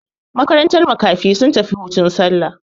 Makarantar makafi sun tafi hutun sallah.